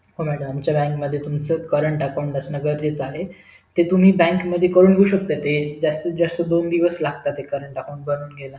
हो madam आमच्या बँकेत तुमच current account असं गरजेचं आहे ते तुम्ही bank मधुन करून घेऊ शेकता जास्तीती जास्त दोन दिवस लागतात ते current account बनवुन घायला